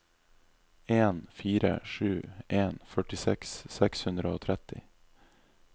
en fire sju en førtiseks seks hundre og tretti